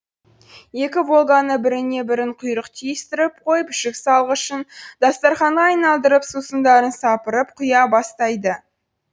екі волганы біріне бірін құйрық түйістіріп қойып жүк салғышын дастарқанға айналдырып сусындарын сапырып құя бастайды